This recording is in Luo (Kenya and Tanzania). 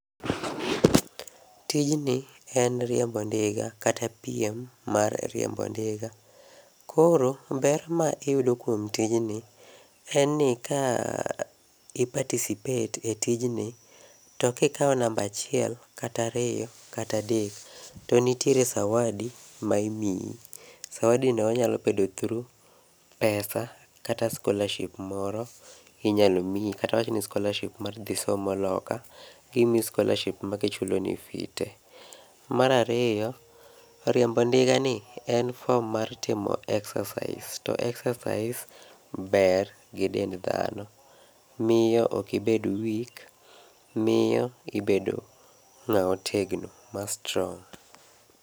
Tijni en rIembo ndiga kata piem mar riembo dinga. koro ber ma iyudo e tijni en ni ka i participate e tijni to ka ikao namba achiel, kata ariyo, kata adek to nitiere zawadi ma imiyi. zawadi no onyalo bedo through pesa kata scholarship moro inyalo miyi awach ni scholarship kata mar dhi somo loka imiyi scholarship ma chulo ni fees tee .mar ariyo, riembo ndiga ni en form mar timo exercise to exercise ber gi dend dhano miyo okibed weak ibedo ng'a ma otegno ma strong